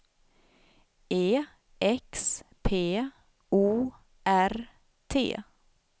E X P O R T